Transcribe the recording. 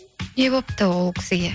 не болыпты ол кісіге